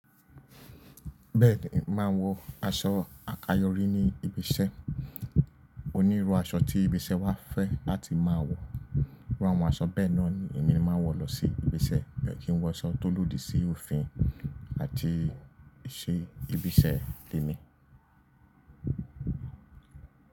Bẹ́ẹ̀ni, mo màá n wọ aṣọ àkayòrí ní ibi iṣẹ́. Onírú aṣọ tí ibi iṣẹ́ wa fẹ́ láti máa wọ, iru àwọn aṣọ bẹ́ẹ̀ náà ni èmi máa n wọ lọ sí ibi iṣẹ́. Mi o kin woso to lòdì si òfin àti iṣẹ́ ibi iṣẹ́ tèmi.